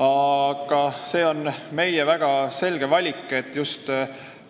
Aga see on meie väga selge valik, et just